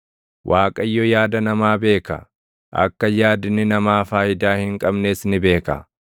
Waaqayyo yaada namaa beeka; akka yaadni namaa faayidaa hin qabnes ni beeka.